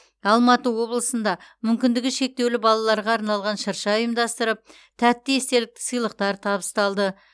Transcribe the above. алматы облысында мүмкіндігі шектеулі балаларға арналған шырша ұйымдастырып тәтті естелікті сыйлықтар табыстады